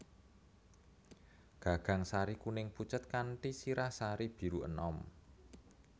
Gagang sari kuning pucet kanthi sirah sari biru enom